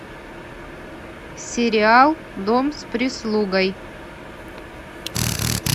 сериал дом с прислугой